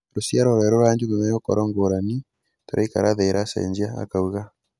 "Rũciaro rwerũ rwa ajumbe megũkorwo ngũrani - tũraikara thĩ iracenjia," akauga.